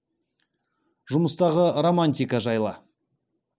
жұмыстағы романтика жайлы